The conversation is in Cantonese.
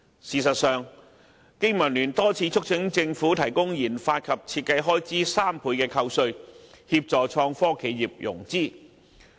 事實上，經民聯多次促請政府提供研發及設計開支3倍扣稅，協助創科企業融資。